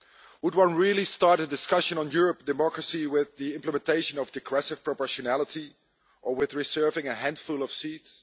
Should one really start a discussion on European democracy with the implementation of degressive proportionality or with the reserving of a handful of seats?